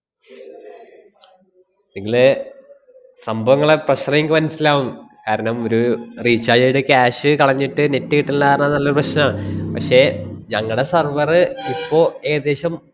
ഇങ്ങളെ സംഭവം ഇങ്ങളെ pressure ~ങ്ങക്ക് മനസ്സിലാവും. കാരണം ഒരു recharge ചെയ്തിട്ട് cash കളഞ്ഞിട്ട് net കിട്ടണില്ല ന്നാണല്ലൊ പ്രശ്നം. പക്ഷേ ഞങ്ങടെ server ഇപ്പോ ഏദേശം,